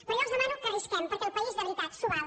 però jo els demano que arrisquem perquè el país de veritat s’ho val